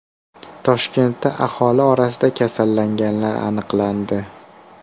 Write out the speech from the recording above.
Toshkentda aholi orasida kasallanganlar aniqlandi.